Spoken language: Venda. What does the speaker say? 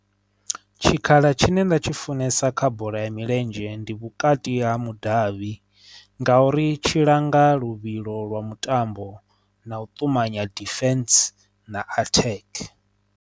Tshikhala tshine nda tshi funesa kha bola ya milenzhe ndi vhukati ha mudavhi nga uri tshilanga luvhilo lwa mutambo na u ṱumanya deficiency na attack.